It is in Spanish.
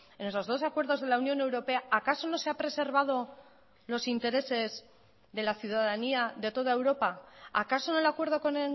en esos dos acuerdos de la unión europea acaso no se ha preservado los intereses de la ciudadanía de toda europa acaso en el acuerdo con